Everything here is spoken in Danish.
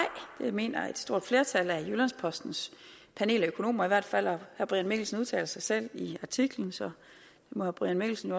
det mener et stort flertal af jyllands postens panel af økonomer hvert fald og herre brian mikkelsen udtaler sig selv i artiklen så herre brian mikkelsen